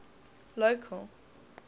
local